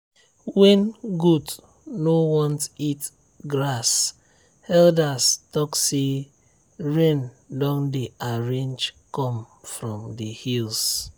when goat no want eat grass elders talk say rain don dey arrange come from the hills.